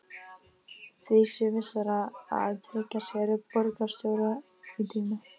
Því sé vissara að tryggja sér borgarstjóra í tíma.